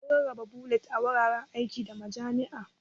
Mun rarraba bulletin a wuraren aiki, da majami'a.